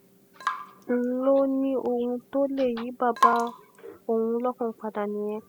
wọ́n lọ ní ohun tó lè yí bàbá òun lọ́kàn padà nìyẹn